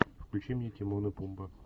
включи мне тимон и пумба